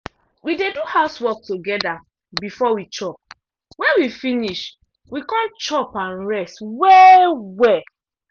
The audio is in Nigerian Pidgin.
we dey do house work together before we chop wen we finish we come chop and rest well -welll.